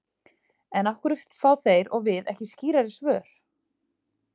En af hverju fá þeir og við ekki skýrari svör?